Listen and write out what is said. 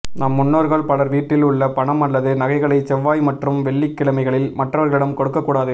நம் முன்னோர்கள் பலர் வீட்டில் உள்ள பணம் அல்லது நகைகளை செவ்வாய் மற்றும் வெள்ளிக் கிழமைகளில் மற்றவர்களிடம் கொடுக்கக் கூடாது